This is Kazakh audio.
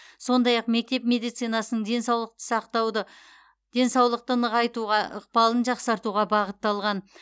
сондай ақ мектеп медицинасының денсаулықты сақтауды денсаулықты нығайтуға ықпалын жақсартуға бағытталған